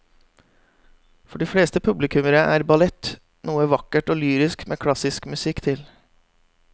For de fleste publikummere er ballett noe vakkert og lyrisk med klassisk musikk til.